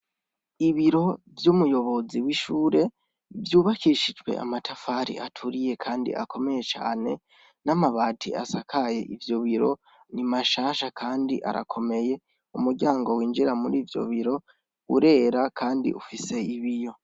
Ibiro vy'umuyobozi w'ishure vyubakishijwe amatafari aturiye kandi akomeye cane n'amabati asakaye ivyo biro, ni mashasha kandi arakomeye, umuryango winjira muri ivyo biro urera kandi ufise ibiyo.